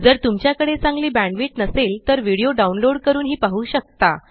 जर तुमच्याकडे चांगली बॅण्डविड्थ नसेल तर व्हिडीओ डाउनलोड करूनही पाहू शकता